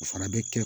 O fana bɛ kɛ